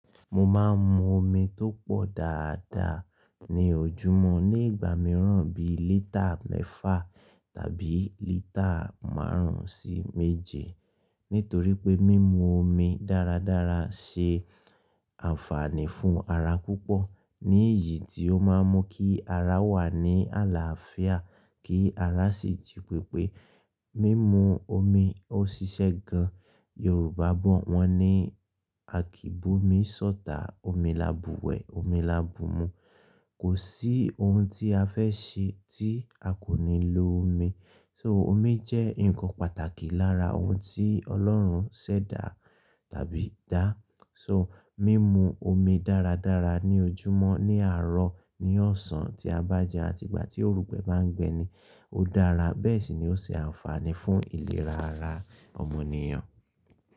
Mo máa ń mu omi tó pọ̀ dáadáa ní ojúmọ́ ní ìgbà mìíràn bí i lítà mẹ́fà tàbí lítà márùn-ún sí méje. Nítorí pé mímu omi dáradára ṣe àǹfààní fún ara púpọ̀. Ní ìyí tí ó máa ń mú kí ara wà ní àlàáfíà kí ara sì ji pépé mímu omi ó ṣiṣẹ́ gan. Yorùbá bọ̀ wọ́n ní akìbomi sọ́tà, omi labú wẹ̀, omi labú mú. Kò sí ohun tí a fẹ́ ṣe tí a kò ní lo omi. So omi jẹ́ nǹkan pàtàkì lára ohun tí Ọlọ́run ṣẹ̀dá tàbí dá. So mímu omi dáradára ní ojúmọ́, ní àárọ̀, ní ọ̀sán, tí a bá jẹun àti ìgbà tí òrùgbẹ́ bá ń gbẹni ó dára. Bẹ́ẹ̀ sì ni ó ṣe àǹfààní fún ìlera ara ọmọnìyàn.